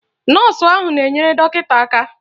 Nọọsụ ahụ na-enyere dọkịta aka.